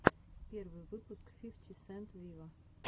первый выпуск фифти сент виво